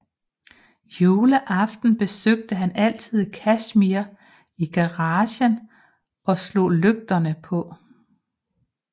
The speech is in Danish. Juleaften besøgte han altid Casimir i garagen og slog lygterne på